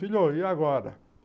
Filho, e agora?